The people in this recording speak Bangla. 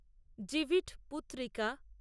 জিভিট পুত্রিকা